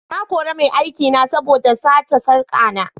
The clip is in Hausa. Na kore mai aikina saboda da sati sarka na.